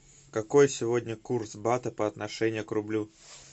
какой сегодня курс бата по отношению к рублю